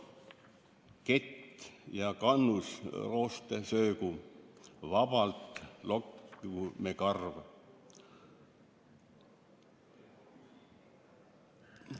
/ Kett ja kannus rooste söögu, / vabalt lokkigu me karv!